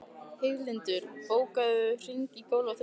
Heiðlindur, bókaðu hring í golf á þriðjudaginn.